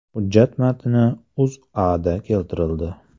Hujjat matni O‘zAda keltirildi .